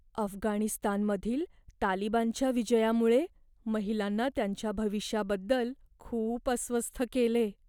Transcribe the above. अफगाणिस्तानमधील तालिबानच्या विजयामुळे महिलांना त्यांच्या भविष्याबद्दल खूप अस्वस्थ केले.